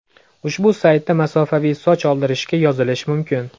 Ushbu saytda masofaviy soch oldirishga yozilish mumkin.